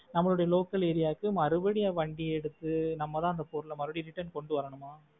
நம்மளோட local area வுக்கு மறுபடியும் வண்டி எடுத்து நம்ம தான் அந்த பொருள மறுபடியும் return கொண்டு வரணுமா?